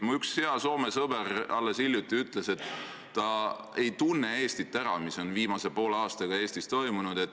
Mu üks hea sõber Soomest alles hiljuti ütles, et ta ei tunne Eestit ära, vaadates seda, mis on viimase poole aastaga Eestis toimunud.